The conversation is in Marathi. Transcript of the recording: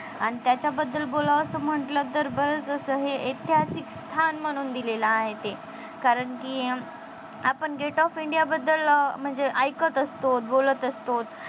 आन त्याच्याबाबदल बोलावंस म्हटलं तर बरच असं हे ऐतिहासिक स्थान म्हणून दिलेलं आहे ते कारण कि आपण gate of india बद्दल म्हणजे ऐकत असतो बोलत असतो.